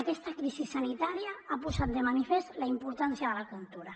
aquesta crisi sanitària ha posat de manifest la importància de la cultura